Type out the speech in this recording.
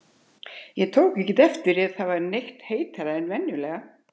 Ég tók ekki eftir því, að það væri neitt heitara en vanalega